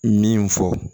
Min fɔ